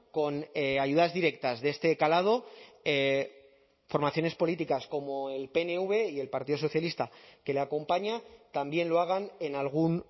con ayudas directas de este calado formaciones políticas como el pnv y el partido socialista que le acompaña también lo hagan en algún